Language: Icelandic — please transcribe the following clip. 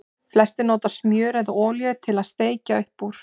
Flestir nota smjör eða olíu til að steikja upp úr.